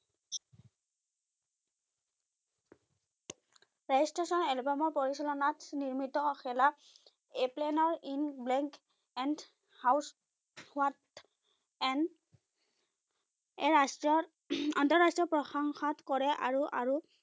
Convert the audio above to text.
rail-station এলবামৰ পৰিচালনাত নিৰ্মিত শেলা এপ্লেনৰ ইঙ্ক ব্লেঙ্ক and house what and এ ৰাষ্টীয় আন্তঃৰাষ্টীয় প্ৰশংসাত কৰে আৰু আৰু